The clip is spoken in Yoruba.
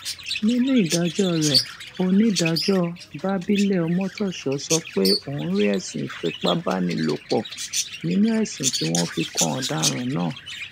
nínú ìdájọ rẹ onídàájọ babilẹ ọmọtọṣọ sọ pé òun rí ẹsùn ìfipábánilòpọ nínú ẹsùn tí wọn fi kan ọdaràn náà